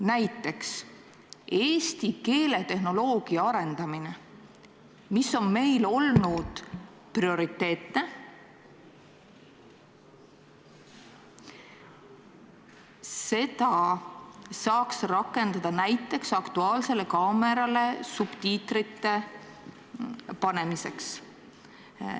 Näiteks, eesti keeletehnoloogia arendamist, mis on meil olnud prioriteetne, saaks rakendada näiteks "Aktuaalsele kaamerale" subtiitrite panemiseks.